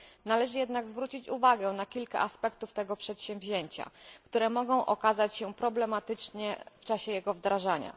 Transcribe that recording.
Należy jednak zwrócić uwagę na kilka aspektów tego przedsięwzięcia, które mogą okazać się problematyczne w czasie jego wdrażania.